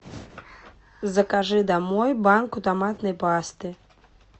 закажи домой банку томатной пасты